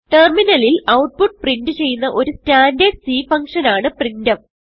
ടെർമിനലിൽ output print ചെയ്യുന്ന ഒരു സ്റ്റാൻഡർഡ് C ഫങ്ഷൻ ആണ് പ്രിന്റ്ഫ്